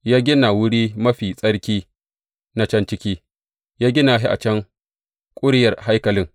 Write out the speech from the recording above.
Ya gina Wuri Mafi Tsarki na can ciki, ya gina shi a can ƙuryar haikalin.